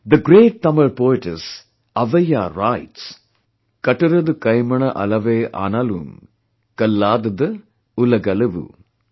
The great Tamil poetess Avvaiyar writes Kattat Kemaavoon Kalladaru Udgadvu, Kaddat Kamiyan Adva Kalladar Olaaadu